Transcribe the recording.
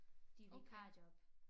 De vikarjob